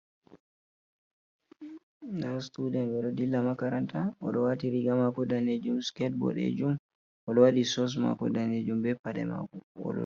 Ɗa situden ɓe ɗo dilla makaranta oɗo wati riga mako danejum siket bodejum odo wadi sos mako danejum be paɗe mako.